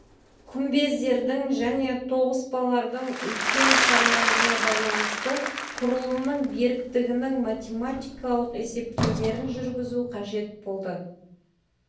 күмбездердің және тоғыспалардың үлкен салмағына байланысты құрылымның беріктігінің математикалық есептеулерін жүргізу қажет болды